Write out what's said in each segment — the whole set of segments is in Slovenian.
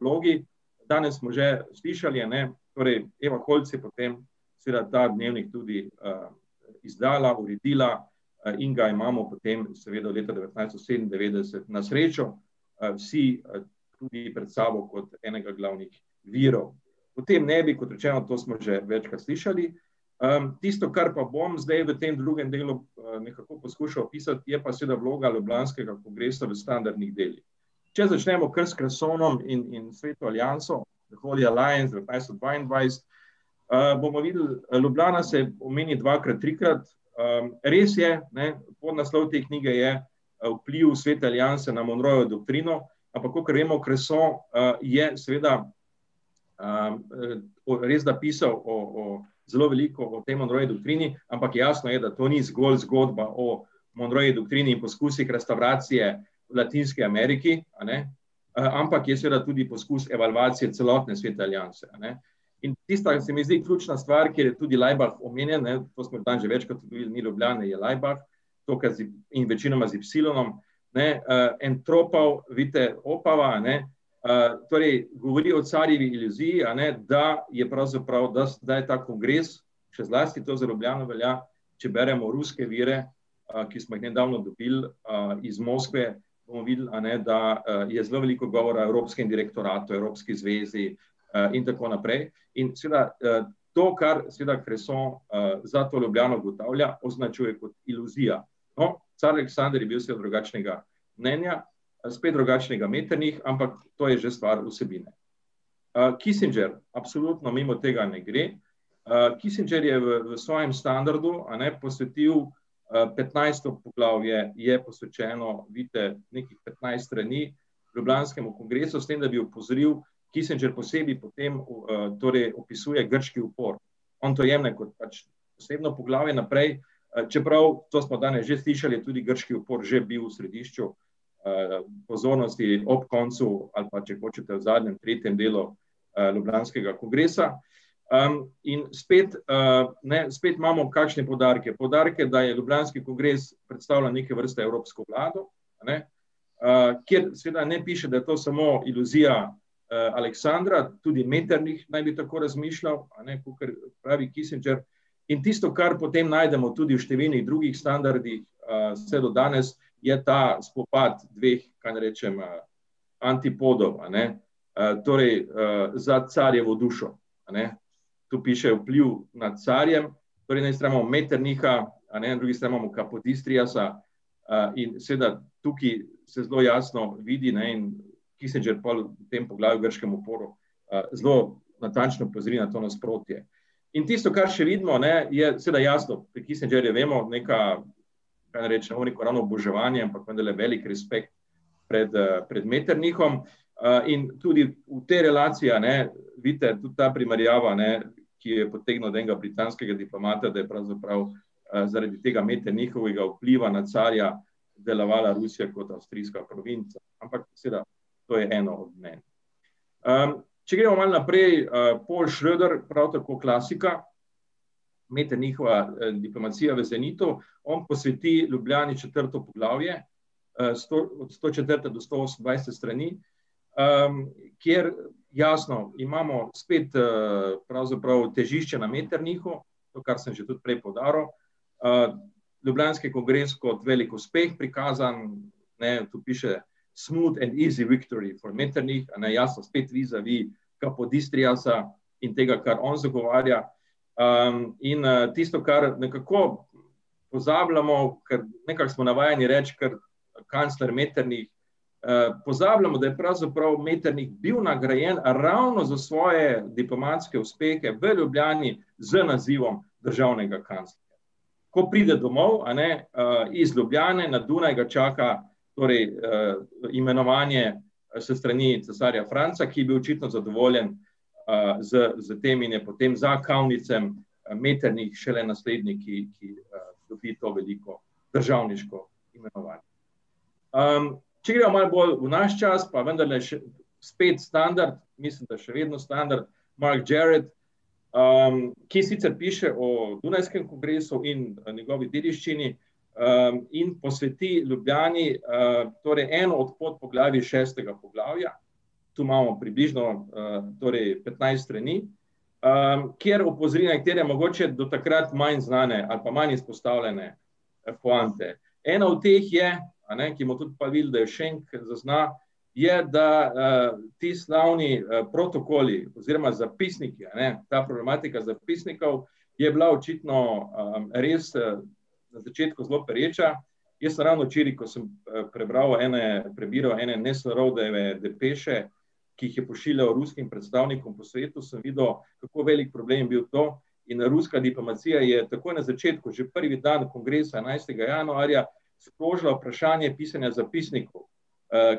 vlogi, danes smo že slišali, a ne, torej Eva Holc je potem seveda ta dnevnik tudi, izdala, uredila in ga imamo potem seveda leta devetnajststo sedemindevetdeset na srečo, vsi, tudi pred sabo kot enega glavnih virov. O tem ne bi, kot rečeno, to smo že večkrat slišali, tisto, kar pa bom zdaj v tem drugem delu nekako poskušal opisati, je pa seveda vloga ljubljanskega kongresa v standardnih delih. Če začnemo kar s Cressonom in, in Sveto alianso, The holy Alliance, devetnajststo dvaindvajset, bomo videli, Ljubljana se omeni dvakrat, trikrat, res je, ne, podnaslov te knjige je Vpliv Svete alianse na Monroejevo doktrino, ampak kakor vemo, Cresson, je seveda, bolj res zapisal o, o zelo veliko o tem , ampak jasno je, da to ni zgolj zgodba o Monroejevi doktrini in poskusih restavracije v Latinski Ameriki, a ne, ampak je seveda tudi poskus evalvacije celotne Svete alianse, a ne. In tista, se mi zdi, ključna stvar, kjer je tudi Laibach omenjen, ne, to smo danes že večkrat ugotovili, ni Ljubljana, je Laibach, in večinoma z ipsilonom, ne, en , vidite, Opava, torej govori o carjevi iluziji, a ne, da je pravzaprav, da da je ta kongres, še zlasti to za Ljubljano velja, če beremo ruske vire, ki smo jih nedavno dobili, iz Moskve, bomo videli, a ne, da, je zelo veliko govora evropskem direktoratu, evropski zvezi, in tako naprej. In seveda, to, kar seveda Cresson, za to Ljubljano ugotavlja, označuje kot iluzija. No, car Aleksander je bil seveda drugačnega mnenja, spet drugačnega Metternich, ampak to je že stvar vsebine. Kissinger, absolutno mimo tega ne gre, Kissinger je v svojem standardu, a ne, posvetil, petnajsto poglavje je posvečeno, vidite, nekih petnajst strani, ljubljanskemu kongresu, s tem da bi opozoril, Kissinger posebej potem torej opisuje grški upor. On to jemlje kot pač posebno poglavje naprej, čeprav, to smo danes že slišali, tudi grški upor je že bil v središču, pozornosti ob koncu, ali pa če hočete v zadnjem, tretjem delu ljubljanskega kongresa, in spet, ne, spet imamo kakšne poudarke, poudarke, da je ljubljanski kongres, predstavlja neke vrste evropsko vlado, a ne, kjer seveda ne piše, da je to samo iluzija, Aleksandra, tudi Metternich naj bi tako razmišljal, a ne, kakor pravi Kissinger, in tisto, kar potem najdemo tudi v številnih drugih standardih, vse do danes je ta spopad dveh, kaj naj rečem, antipodov, a ne, torej, za carjevo dušo, a ne, tu piše vpliv nad carjem, torej na eni strani imamo Metternicha, a ne, na drugi strani imamo Kapodistriasa, in seveda tukaj se zelo jasno vidi, ne, in Kissinger pol v tem poglavju grškemu polu, zelo natančno opozori to nasprotje. In tisto, kar še vidimo, ne, je seveda jasno, pri Kissingerju vemo, neka, kaj naj rečem, ne bom rekel ravno oboževanje, ampak vendarle velik rešpekt pred, pred Metternichom. in tudi v tej relaciji, a ne, vidite, tudi ta primerjava, ne, ki jo je potegnil od enega britanskega diplomata, da je pravzaprav, zaradi tega Metternichovega vpliva na carja delovala Rusija kot avstrijska provinca. Ampak seveda to je eno od mnenj. če gremo malo naprej, Paul Schroeder, prav tako klasika, Metternichova, diplomacija v zenitu, on posveti Ljubljani četrto poglavje, od stočetrte do stosemnajste strani, kjer jasno, imamo spet, pravzaprav težišče na Metternichu, to, kar sem že tudi prej poudaril, ljubljanski kongres kot veliko uspeh, prikazan ... Ne, tu piše, smooth and easy victory for Metternich, jasno, a ne, spet vizavi Kapodistriasa, in tega, kar on zagovarja. in tisto, kar nekako pozabljamo, ker nekako smo navajeni reči, ker kancler Metternich ... pozabljamo, da je pravzaprav Metternich bil nagrajen ravno za svoje diplomatske uspehe v Ljubljani z nazivom državnega kanclerja. Ko pride domov, a ne, iz Ljubljane na Dunaj, ga čaka torej, imenovanje, s strani cesarja Franca, ki je bil očitno zadovoljen, z, z tem in je potem za , Metternich šele naslednji, ki, ki, dobi to veliko državniško imenovanje. če gremo malo bolj v naš čas, pa vendarle še spet standard, mislim, da še vedno standard, Mike Gert, ki sicer piše o dunajskem kongresu in v njegovi dediščini, in posveti Ljubljani, torej eno od podpoglavij šestega poglavja, tu imamo približno, torej petnajst strani, kjer opozori na katere mogoče do takrat manj znane ali pa manj izpostavljene, poante. Ena od teh je, a ne, ki bomo tudi pol videli, da je Šenk, ker zazna, je da, ti slavni, protokoli oziroma zapisniki, a ne, ta problematika zapisnikov je bila očitno, res, na začetku zelo pereča. Jaz sem ravno včeraj, ko sem prebral ene, prebiral ene depeše, ki jih je pošiljal ruskim predstavnikom po svetu, sem videl, kako velik problem je bil to, in ruska diplomacija je takoj na začetku, že prvi dan kongresa, enajstega januarja, sprožila vprašanje pisanja zapisnikov.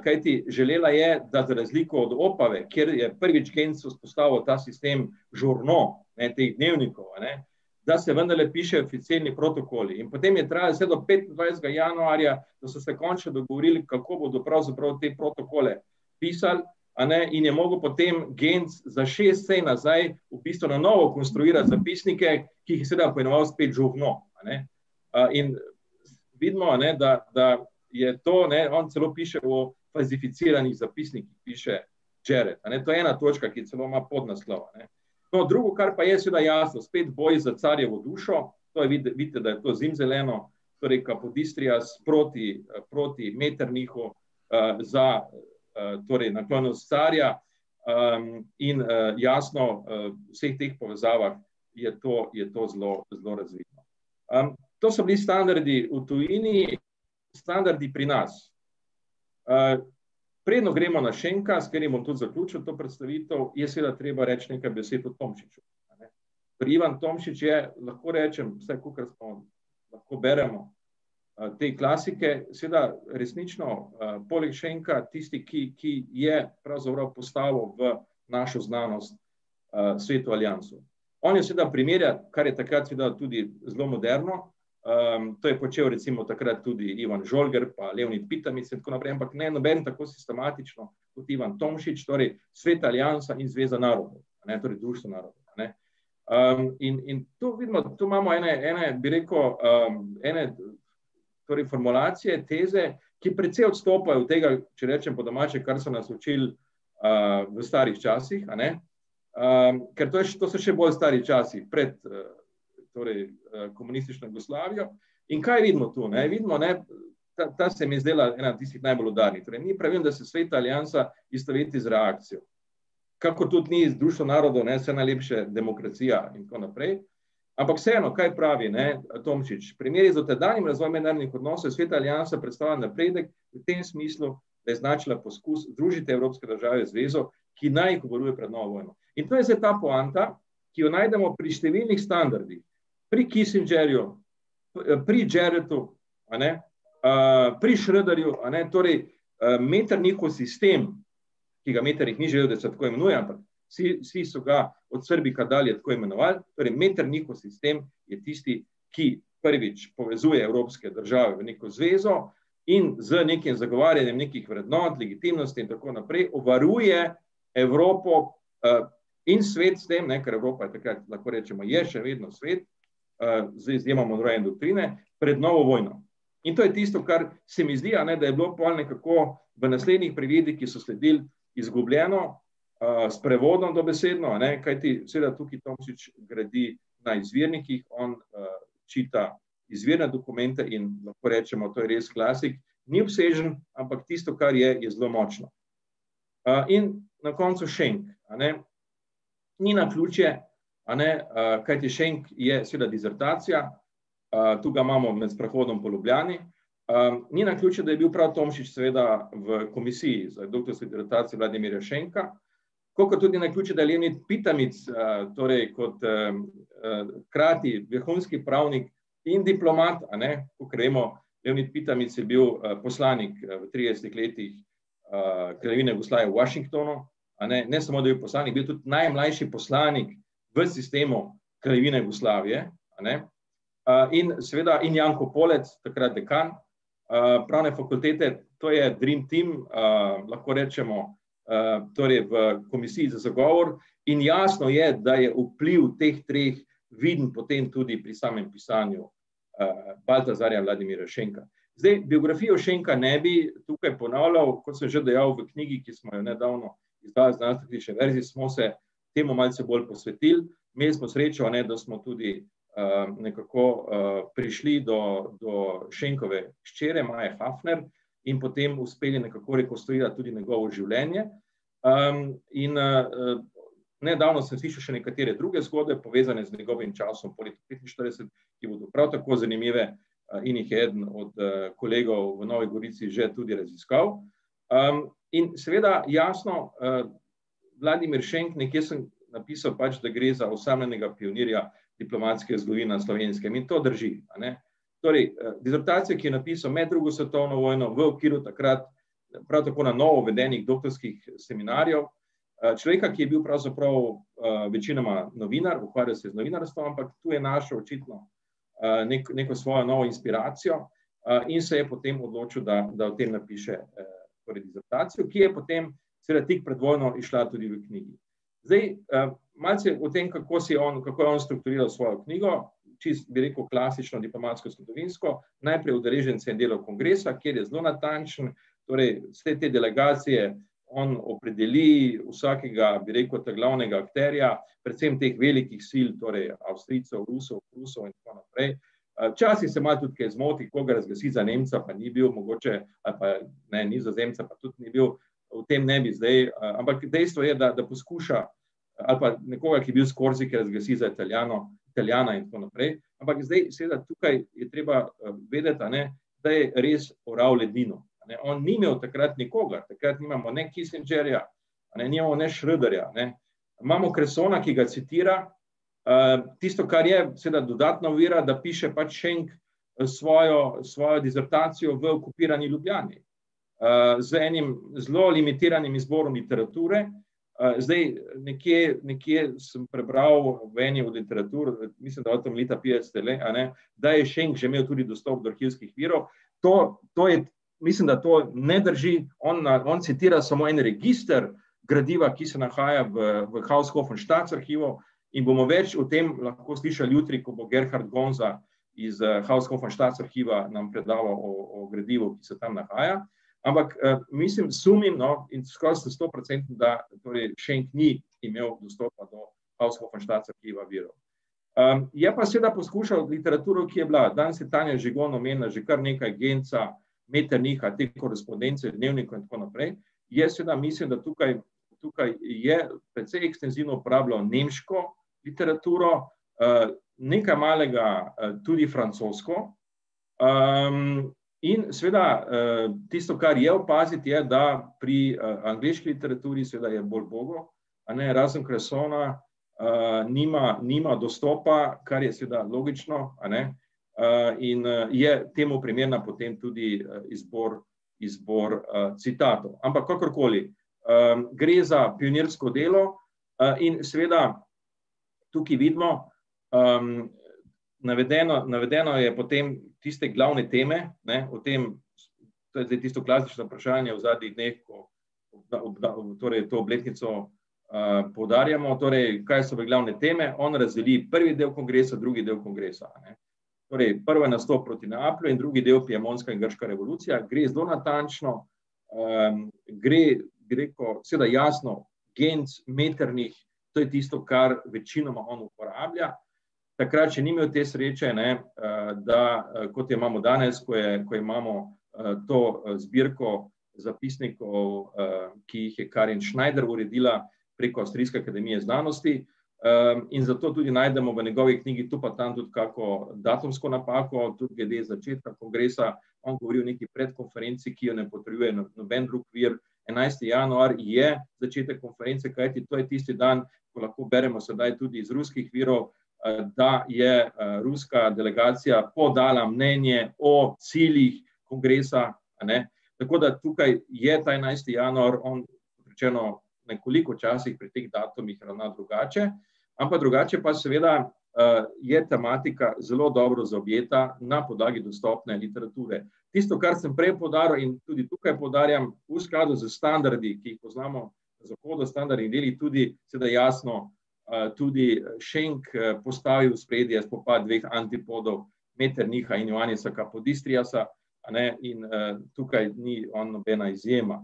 kajti želela je, da za razliko od Opave, ker je prvič Genz vzpostavil ta sistem Journaux, ne, teh dnevnikov, a ne, da se vendarle pišejo oficirni protokoli in potem je trajalo vse do petindvajsetega januarja, da so se končno dogovorili, kako bodo pravzaprav te protokole pisali, a ne, in je mogel potem Genz za šest sej nazaj v bistvu na novo konstruirati zapisnike, ki jih seveda poimenoval spet Journaux, a ne. in vidimo, a ne, da, da je to, ne, on celo piše o falsificiranih zapisnikih, piše , a ne, to je ena točka ki, celo ima podnaslov. To drugo, kar pa je, seveda jasno, spet boj za carjevo dušo, to je vidite, da je to zimzeleno, torej Kapodistrias proti, proti Metternichu, za, torej naklonjenost carja, in, jasno, v vseh teh povezavah je to, je to zelo, zelo razvito. to so bili standardi v tujini, standardi pri nas. preden gremo na Šenka, s katerim bom tudi zaključil to predstavitev, je seveda treba reči nekaj besed o Tomšiču, a ne. Torej Ivan Tomšič je, lahko rečem, vsaj kakor smo, lahko beremo, te klasike, seveda resnično, poleg Šenka tisti, ki, ki je pravzaprav postavil v našo znanost, Sveto alianso. On je seveda primerjal, kar je takrat seveda tudi zelo moderno, to je počel recimo takrat tudi Ivan Žolger pa in tako naprej, ampak ne, noben tako sistematično kot Ivan Tomšič, torej Sveta aliansa in Zveza narodov. A ne, torej Društvo narodov, a ne. in, in tu vidimo, tu imamo ene, ene, bi rekel, ene torej formulacije, teze, ki precej odstopajo od tega, če rečem po domače, kar so nas učili, v starih časih, a ne, ker to je to so še bolj stari časi pred, torej, komunistično Jugoslavijo, in kaj vidimo to, ne, vidimo, ne ... Ta, ta se mi je zdela ena tistih najbolj udarnih, torej ni pravilno, da se Sveta aliansa istoveti z reakcijo. Kakor tudi ni Društvo narodov, ne, saj najlepše demokracija in tako naprej, ampak vseeno, kaj pravi, ne, Tomšič, primeri za tedaj in razvoj mednarodnih odnosov, je Sveta aliansa predstavljala napredek v tem smislu, da je značila poskus združiti evropske države v zvezo, ki naj jih obvaruje pred novo vojno. In to je zdaj ta poanta, ki jo najdemo pri številnih standardih. Pri Kissingerju, pri Jeretu, a ne, pri Schroederju, a ne, torej, Metternichov sistem, ki ga Metternich ni želel, da se tako imenuje, ampak vsi, vsi so ga od dalje tako imenovali, torej Metternichov sistem je tisti, ki, prvič, povezuje evropske države v neko zvezo in z nekim zagovarjanjem nekih vrednot, legitimnosti in tako naprej obvaruje Evropo, in svet s tem, ne, ker Evropa je takrat, lahko rečemo, je še vedno svet, z izjemo Monroejeve doktrine pred novo vojno. In to je tisto, kar se mi zdi, a ne, da je bilo pol nekako v naslednjih pregledih, ki so sledil, izgubljeno, s prevodom dobesedno, a ne, kajti seveda tukaj Tomšič gradi ta izvirnik, ki on, čita izvirne dokumente in lahko rečemo, to je res klasik, ni obsežen, ampak tisto, kar je, je zelo močno. in na koncu Šenk, a ne, ni naključje, a ne, kajti Šenk je seveda disertacija, to ga imamo med sprehodom po Ljubljani, ni naključje, da je bil prav Tomšič seveda v komisiji za doktorsko disertacijo Vladimirja Šenka. Tako kot tudi ni naključje, da torej kot, hkrati vrhunski pravnik in diplomat, a ne, kakor vemo, je bil, poslanik v tridesetih letih, Kraljevine Jugoslavije v Washingtonu, a ne, ne samo, da je bil poslanik, bil je tudi najmlajši poslanik v sistemu Kraljevine Jugoslavije, a ne. in seveda, in Janko Polec, takrat dekan, Pravne fakultete, to je dream team, lahko rečemo, torej v komisiji za zagovor. In jasno je, da je vpliv teh treh vidim potem tudi pri samem pisanju, Baltazarja Vladimirja Šenka. Zdaj, biografijo Šenka ne bi tukaj ponavljal, kot sem že dejal, v knjigi, ki smo jo nedavno izdali v verziji, smo se temu malce bolj posvetili, imeli smo srečo, a ne, da smo tudi, nekako, prišli do, do Šenkove hčere Maje Hafner. In potem uspeli nekako rekonstruirati tudi njegovo življenje. in, nedavno sem slišal še nekatere druge zgodbe, povezane z njegovim časom poleg petinštirideset, ki bodo prav tako zanimive, in jih je eden od kolegov v Novi Gorici že tudi raziskal. in seveda, jasno, Vladimir Šenk, nekje sem napisal, pač da gre za osamljenega pionirja diplomatske zgodovine na Slovenskem, in to drži, a ne. Torej, dizertacija, ki jo je napisal med drugo svetovno vojno v okviru takrat prav tako na novo uvedenih doktorskih seminarjev, človeka, ki je bil pravzaprav, večinoma novinar, ukvarjal se je z novinarstvom, ampak to je našel očitno, neko svojo novo inspiracijo. in se je potem odločil, da, da o tem napiše torej disertacijo, ki je potem seveda tik pred vojno izšla tudi v knjigi. Zdaj, malce o tem, kako si je on, kako je on strukturiral svojo knjigo. Čisto, bi rekel, klasično diplomatskozgodovinsko. Najprej udeležence in delo kongresa, kjer je zelo natančen, torej vse te delegacije on opredeli vsakega, bi rekel, ta glavnega akterja, predvsem teh velikih sil, torej Avstrijcev, Rusov, Prusov in tako naprej. včasih se malo tudi kaj zmoti, koga razglasi za Nemca, pa ni bil mogoče, ali pa, ne, Nizozemec, pa tudi ni bil, o tem ne bi zdaj, ampak dejstvo je, da, da poskuša ali pa nekoga, ki bi bil s Korzike, razglasiti za Italijano, Italijana in tako naprej. Ampak zdaj seveda tukaj je treba vedeti, a ne, da je res oral ledino. A ne, on ni imel takrat nikogar, takrat nimamo ne Kissingerja, a ne, nimamo ne Schroederja, a ne. Imamo Cressona, ki ga citira, tisto, kar je seveda dodatna ovira, da piše pač Šenk, svojo, svojo disertacijo v okupirani Ljubljani. z enim zelo limitiranim izborom literature, zdaj nekje, nekje sem prebral, v eni od literatur, mislim, da v , a ne, da je Šenk že imel tudi dostop do arhivskih virov, to, to je ... Mislim, da to ne drži, on on citira samo en register gradiva, ki se nahaja v, v arhivu, in bomo več o tem lahko slišali jutri, ko bo Gerhard Bonza iz, Haushoffenstadt arhiva nam predaval o, o gradivu, ki se tam nahaja. Ampak, mislim, sumim, no, in skoraj sem stoprocenten, da torej Šenk ni imel dostopa do Haushoffenstadt arhiva virov. je pa seveda poskušal z literaturo, ki je bila, danes je Tanja Žigon omenila že kar nekaj Genza, Metternicha, te korespondence v dnevniku in tako naprej, je seveda, mi seveda tukaj tukaj je precej ekstenzivno uporabljal nemško literaturo, nekaj malega, tudi francosko. in seveda, tisto, kar je opaziti, je, da pri, angleški literaturi seveda je bolj ubogo, a ne, razen Cressona, nima, nima dostopa, kar je seveda logično, a ne, in je temu primerna potem tudi izbor, izbor, citatov. Ampak kakorkoli, gre za pionirsko delo, in seveda tukaj vidimo, navedeno, navedeno je potem tiste glavne teme, ne, o tem ... To je zdaj tisto klasično vprašanje v zadnjih dneh o, torej to obletnico, poudarjamo, torej kaj so bile glavne teme, on razdeli prvi del kongresa, drugi del kongresa, a ne. Torej prva je nastop Proti Neaplju in drugi del Piemontska in grška revolucija. Gre zelo natančno, gre, bi rekel, seveda jasno Genz, Metternich, to je tisto, kar večinoma on uporablja. Takrat še ni imel te sreče, ne, da, kot jo imamo danes, ko je, ko imamo, to, zbirko, zapisnikov, ki jih je Karin Schneider uredila preko avstrijske akademije znanosti, in zato tudi najdemo v njegovi knjigi tu pa tam kako datumsko napako, tudi glede začetka kongresa, on govori o neki predkonferenci, ki jo ne potrjuje noben drug vir, enajsti januar je začetek konference, kajti to je tisti dan, ko lahko beremo sedaj tudi iz ruskih virov, da je, ruska delegacija podala mnenje o ciljih kongresa, a ne, tako da tukaj je ta enajsti januar on načeloma nekoliko včasih pri teh datumih ravnal drugače. Ampak drugače pa seveda, je tematika zelo dobro zaobjeta na podlagi dostopne literature. Tisto, kar sem prej poudarjal in tudi tukaj poudarjam, v skladu z standardi, ki jih poznamo seveda jasno, tudi Šenk, postavi v ospredje spopad dveh antipodov, Metternicha in Joanisa Kapodistriasa. A ne, in, tukaj ni on nobena izjema.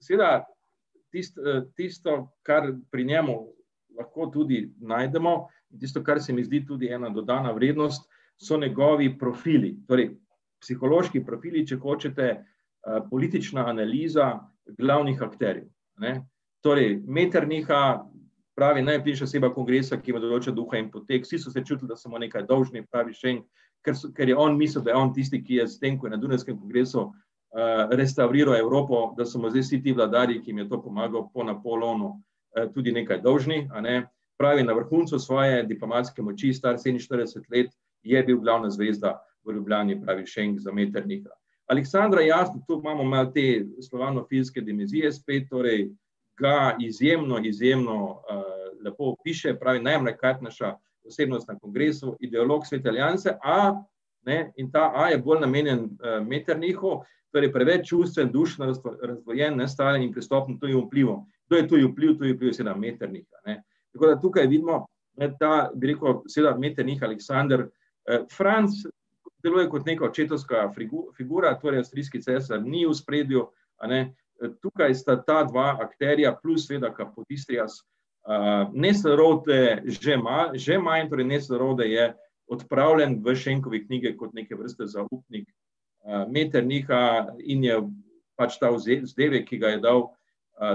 seveda tisti, tisto, kar pri njemu lahko tudi najdemo, tisto, kar se mi zdi tudi ena dodana vrednost, so njegovi profili, torej psihološki profili, če hočete, politična analiza glavnih akterjev, a ne. Torej Metternicha, se pravi, najbližja oseba kongresa, in potek, vsi so se čutili, da so mu nekaj dolžni, pravi Šenk, ker so, ker je on mislil, da je on tisti, ki je s tem, ko je na Dunajskem kongresu, restavriral Evropo, da so mu zdaj vsi ti vladarji, ki jim je to pomagal po Napoleonu, tudi nekaj dolžni, a ne. Se pravi, na vrhuncu svoje diplomatske moči, star sedeminštirideset let, je bil glavna zvezda v Ljubljani, pravi Šenk za Metternicha. Aleksandra, jasno, tu imamo malo te slovanofilske dimenzije spet torej, ga izjemno, izjemno, lepo opiše, pravi posebnost na kongresu, ideolog Svete alianse, a, ne, in ta a je bolj namenjen, Metternichu, torej preveč čustven, dušno razdvojen, ne, tujim vplivom. Kdo je tudi vpliv, tudi vpliv je seveda Metternich, a ne. Tako da tukaj vidimo, ne, ta, bi rekel, seveda Metternich, Aleksander, Franc deluje kot neka očetovska figura, torej avstrijski cesar ni v ospredju, a ne. tukaj sta ta dva akterja plus seveda Kapodistrias, že manj, torej je odpravljen v Šenkovi knjigi kot neke vrste zaupnik, Metternicha in je pač ta vzdevek, ki ga je dal,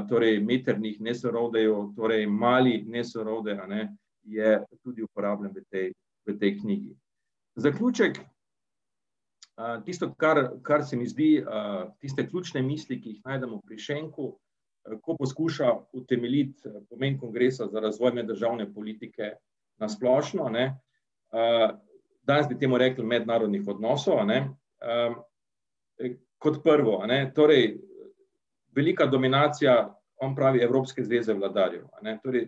torej Metternich Nesselrode, torej Mali Nesselrode, a ne, je tudi uporabljen v tej, v tej knjigi. Zaključek, tisto, kar, kar se mi zdi, tiste ključne misli, ki jih najdemo pri Šenku, ko poskuša utemeljiti, pomen kongresa za razvoj meddržavne politike na splošno, a ne, danes bi temu rekli mednarodnih odnosov, a ne, Torej kot prvo, a ne, torej velika dominacija on pravi Evropske zveze vladarjev, a ne, torej,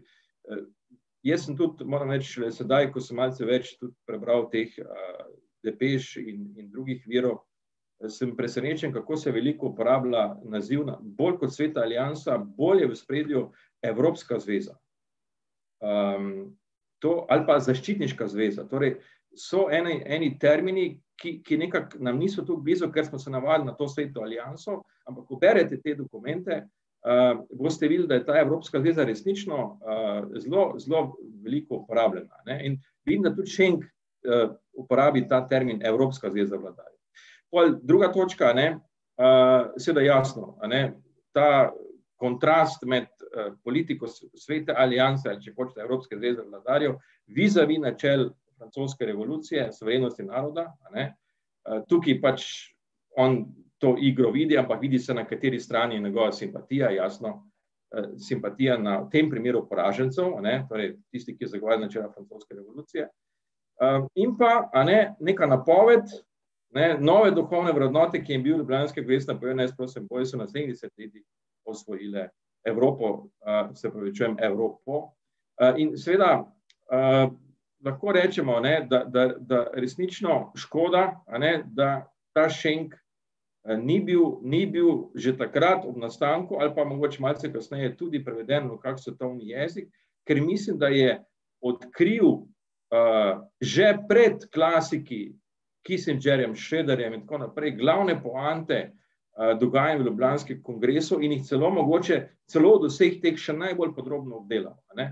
jaz sem tu, moram reči, sedaj, ko sem malce več tudi prebral teh, depeš in, in drugih virov, samo presenečen, kako se veliko uporablja naziv, bolj kot Sveta aliansa, bolj je v ospredju Evropska zveza. to ali pa zaščitniška zveza, torej so eni termini, ki, ki nekako nam niso tako blizu, ker smo se navadili na to Sveto alianso, ampak ko berete te dokumente, boste videli, da je ta Evropska zveza resnično, zelo, zelo veliko uporabljena, ne. Ne, in vidim, da tudi Šenk, uporabi ta termin, Evropska zveza vladarjev. Pol druga točka, a ne, seveda jasno, a ne, ta kontrast med, politiko Svete alianse, ali če hočete, Evropske zveze vladarjev, vizavi načel francoske revolucije, suverenosti naroda, a ne, tukaj pač on to igro vidi, ampak vidi se, na kateri strani je njegova simpatija, jasno. simpatija na, v tem primeru poražencev, a ne, torej tisti, ki je zagovarjal načela francoske revolucije. in pa, a ne, neka napoved, ne, nove duhovne vrednote, ki je vir osvojile Evropo, se opravičujem, Evropo. in seveda, lahko rečemo, a ne, da, da, da resnično škoda, a ne, da ta Šenk, ni bil, ni bil že takrat ob nastanku ali pa mogoče malce kasneje tudi preveden v kak svetovni jezik, ker mislim, da je odkril, že pred klasiki, Kissingerjem, Schroederjem in tako naprej, glavne poante dogajanj v ljubljanskem kongresu in jih celo mogoče, celo od vseh teh še najbolj podrobno obdelal, a ne.